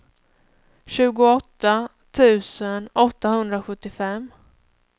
tjugoåtta tusen åttahundrasjuttiofem